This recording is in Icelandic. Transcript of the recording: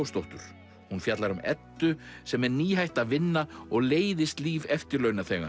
Leósdóttur hún fjallar um Eddu sem er nýhætt að vinna og leiðist líf